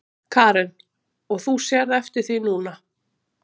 Karen: Og þú sérð eftir því núna?